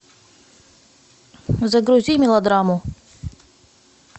загрузи мелодраму